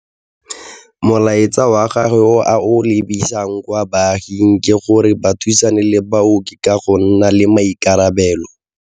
Molaetsa wa gagwe o a o lebisang kwa baaging ke gore ba thusane le baoki ka go nna le maikarabelo.